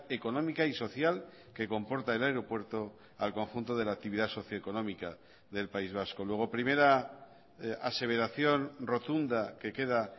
económica y social que comporta el aeropuerto al conjunto de la actividad socioeconómica del país vasco luego primera aseveración rotunda que queda